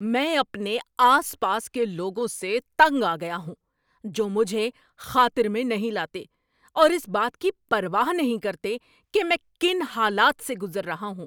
میں اپنے آس پاس کے لوگوں سے تنگ آ گیا ہوں جو مجھے خاطر میں نہیں لاتے اور اس بات کی پرواہ نہیں کرتے کہ میں کن حالات سے گزر رہا ہوں۔